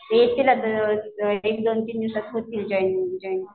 येतील आता एक दोन दिवसात होतील जॉईन जॉइनिंग